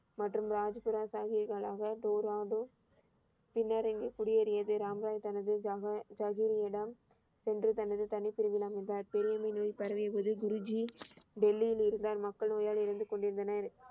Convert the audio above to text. மற்றும் ராஜ் தோ ரா தோ பின்னர் இங்கே குடியேறியது. ராம் ராய் தனது ஜன ஜசூரியிடம் சென்று தனது தனி பிரிவில் அமர்ந்தார். பெரிய அம்மை நோய் பரவியப்போது குருஜி டெல்லியில் இருந்தார். மக்கள் நோயால் இறந்து கொண்டிருந்தனர்.